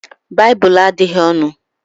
Baịbụl adịghị ọnụ